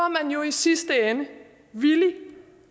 man jo i sidste ende villig